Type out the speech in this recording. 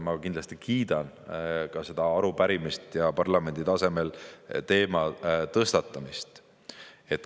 Ma kindlasti kiidan ka seda arupärimist ja parlamendi tasemel teema tõstatamist.